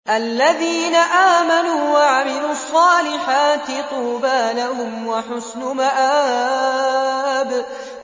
الَّذِينَ آمَنُوا وَعَمِلُوا الصَّالِحَاتِ طُوبَىٰ لَهُمْ وَحُسْنُ مَآبٍ